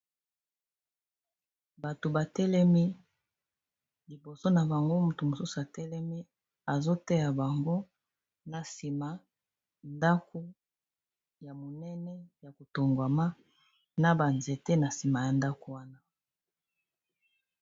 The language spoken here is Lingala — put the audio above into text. Bato batelemi, liboso na bango moto mosusu atelemi azo tea bango, na sima ndako ya monene ya kotongwama, na banzete na sima ya ndako wana.